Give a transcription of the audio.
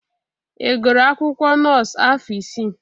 Ị gụrụ akwụkwọ nọọsụ afọ isii?